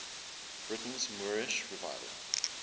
britain's moorish revival